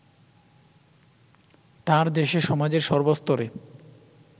তাঁর দেশে সমাজের সর্বস্তরে